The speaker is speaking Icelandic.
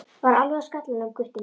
Var alveg á skallanum, Gutti minn.